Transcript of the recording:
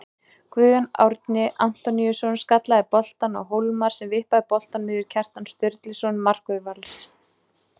Guðjón Árni Antoníusson skallaði boltann á Hólmar sem vippaði boltanum yfir Kjartan Sturluson markvörð Vals.